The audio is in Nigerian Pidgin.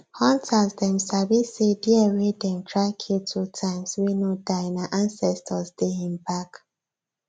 hunters dem sabi say deer wey dem try kill two times wey no die nah ansestors dey hin bak